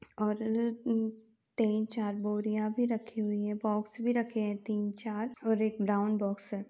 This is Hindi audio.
और अ तीन चार बोरियाँ भी रखी हुयी हैं। बॉक्स भी रखे हैं। तीन चार और एक राउंड बॉक्स है।